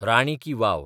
राणी की वाव